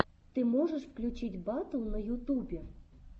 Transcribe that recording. ты можешь включить батл на ютубе